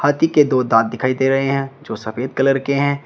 हाथी के दो दांत दिखाई दे रहे हैं जो सफेद कलर के हैं।